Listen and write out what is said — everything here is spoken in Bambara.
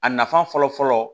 A nafa fɔlɔ fɔlɔ